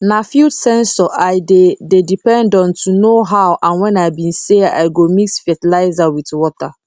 na field sensor i dey dey depend on to know how and when i be say i go mix fertilizer with water